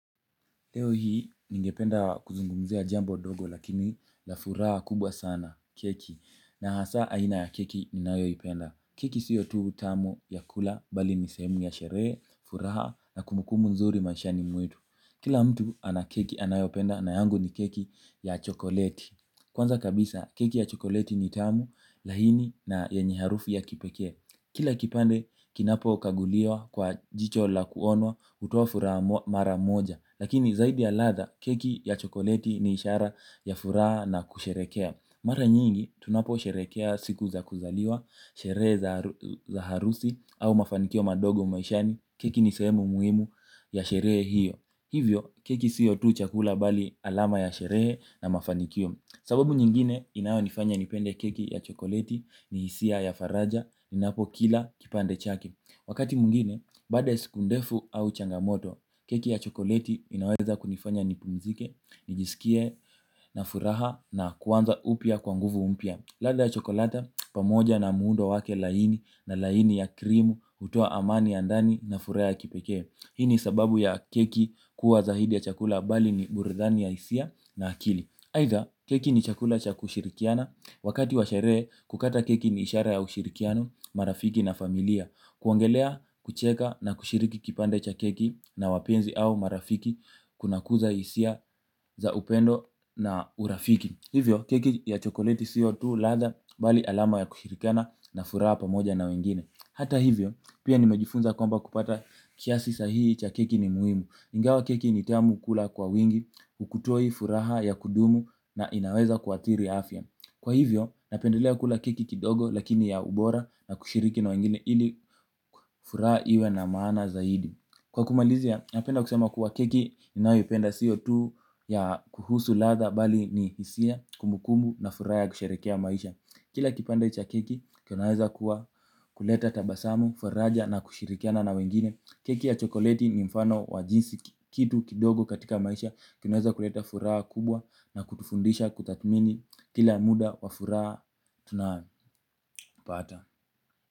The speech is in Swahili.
Leo hii ningependa kuzungumzia jambo dogo lakini la furaha kubwa sana keki na hasa aina ya keki ni nayo ipenda. Keki siyo tu utamu ya kula bali nisemu ya sheree, furaha na kumbukumbu nzuri mashani mwetu. Kila mtu anakeki anayopenda na yangu ni keki ya chokoleti. Kwanza kabisa keki ya chokoleti ni tamu lahini na yenye harufu ya kipeke. Kila kipande kinapo kaguliwa kwa jicho la kuonwa utofura mara moja. Lakini zaidi ya latha keki ya chokoleti ni ishara ya fura na kusherekea. Mara nyingi tunapo sherekea siku za kuzaliwa, sherehe za harusi au mafanikio madogo maishani. Keki ni semu muhimu ya sherehe hiyo. Hivyo keki siyo tu chakula bali alama ya sherehe na mafanikio. Sababu nyingine inayo nifanya nipende keki ya chokolati ni hisia ya faraja, ninapo kila kipande chake. Wakati mungine, bada ya sikundefu au changamoto, keki ya chokolati inaweza kunifanya nipunzike, nijisikie na furaha na kuwanza upia kwanguvu mpia. Lada ya chokolata, pamoja na muundo wake laini na laini ya krimu, utoa amani ya ndani na furaha ya kipeke. Hini sababu ya keki kuwa zaidi ya chakula bali ni burudani ya hisia na akili haitha keki ni chakula cha kushirikiana wakati wa sherehe kukata keki ni ishara ya ushirikiano marafiki na familia. Kuongelea kucheka na kushiriki kipande cha keki na wapenzi au marafiki kuna kuza isia za upendo na urafiki. Hivyo keki ya chokoleti siyo tu latha bali alama ya kushirikiana na furaha pamoja na wengine. Hata hivyo pia nimejifunza kwamba kupata kiasi sahihi cha keki ni muhimu. Ingawa keki nitamu kula kwa wingi, hukutoi furaha ya kudumu na inaweza kuathiri afya. Kwa hivyo, napendelea kula keki kidogo lakini ya ubora na kushiriki na wengine ili furaha iwe na maana zaidi. Kwa kumalizia, napenda kusema kwa keki ninayoipenda siyo tu ya kuhusu ladha bali ni hisia kumbukumbu na furaha ya kusheherekea maisha kila kipande cha keki kinaweza kuwa, kuleta tabasamu, faraja na kushirikiana na wengine keki ya chokoleti ni mfano wa jinsi kitu kidogo katika maisha kinaweza kuleta furaha kubwa na kukufundisha kutathmini kila muda wa furaha na bahati.